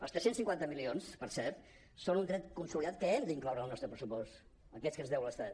els tres cents i cinquanta milions per cert són un dret consolidat que hem d’incloure en el nostre pressupost aquests que ens deu l’estat